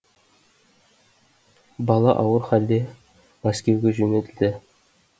бала ауыр халде мәскеуге жөнелтілді